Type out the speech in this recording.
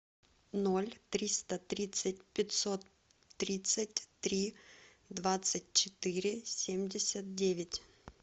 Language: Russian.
ноль триста тридцать пятьсот тридцать три двадцать четыре семьдесят девять